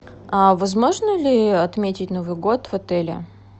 а возможно ли отметить новый год в отеле